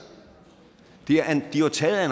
de er jo taget af